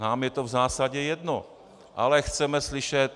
Nám je to v zásadě jedno, ale chceme slyšet,